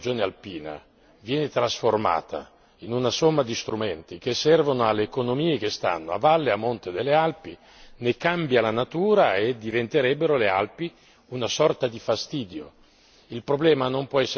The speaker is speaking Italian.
Se però l'idea della macroregione alpina viene trasformata in una somma di strumenti che servono alle economie che stanno a valle e a monte delle Alpi, ne cambia la natura e le Alpi diventerebbero una sorta di fastidio.